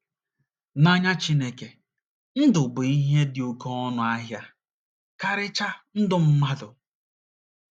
N’anya Chineke, ndụ bụ ihe dị oké ọnụ ahịa, karịchaa ndụ mmadụ.